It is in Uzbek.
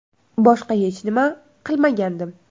Boshqa hech nima qilmagandim.